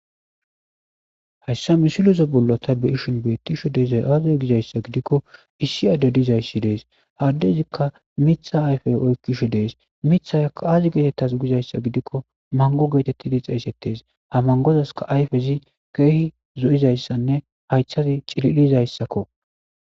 hayssa misileza bollo ta beyishin beettisho dezay aazay gizayssa gidikko issi adde dizayssi dees. ha adezikka miiththa ayfey oykkishe dees. mithaykka ayi getetaze gizayssa gidikko mango geetettidi xeeysettes. ha mangozaska ayfezi keehi zo'izayssanne hayththazi cililizayssakko.